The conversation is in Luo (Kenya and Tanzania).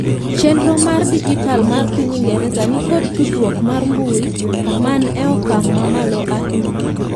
chenro mar dijital mar piny ingereza nikod tudruok mar mbui man e okang' mamalo ainya